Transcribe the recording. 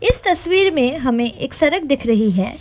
इस तस्वीर में हमें एक सड़क दिख रही है।